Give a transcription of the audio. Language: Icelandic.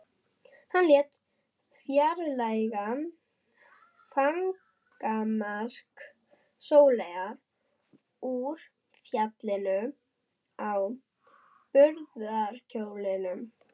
Hann lét fjarlægja fangamark Sóleyjar úr faldinum á brúðarkjólnum.